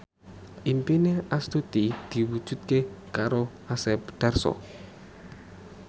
impine Astuti diwujudke karo Asep Darso